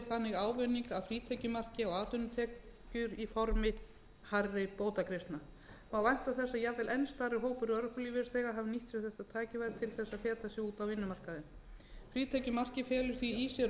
þannig ávinning af frítekjumarki á atvinnutekjur í formi hærri bótagreiðslna má vænta þess að jafnvel enn stærri hópur örorkulífeyrisþega hafi nýtt sér þetta tækifæri til að feta sig út á vinnumarkaðinn frítekjumark felur því í sér aukið tækifæri til handa